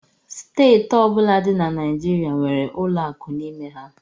Steeti ọbụla dị na Naịjirịa nwere ụlọ akụ n'ime ha